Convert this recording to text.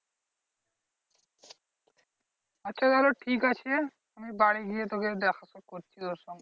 আচ্ছা চলো ঠিকাছে আমি বাড়ি গিয়ে তোকে দেখা তো করতেই হবে তোর সঙ্গে।